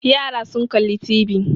Yara sun kalli TV.